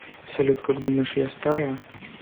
салют как думаешь я старая